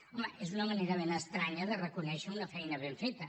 home és una manera ben estranya de reconèixer una feina ben feta